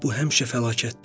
Bu həmişə fəlakətdir.